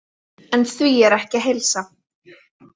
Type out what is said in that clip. En því er ekki að heilsa.